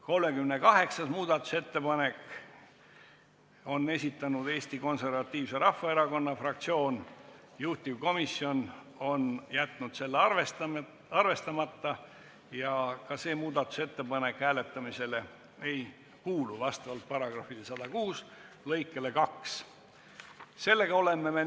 38. muudatusettepaneku on esitanud Eesti Konservatiivse Rahvaerakonna fraktsioon, juhtivkomisjon on jätnud selle arvestamata ja ka see muudatusettepanek vastavalt kodu- ja töökorra seaduse § 106 lõikele 2 hääletamisele ei kuulu.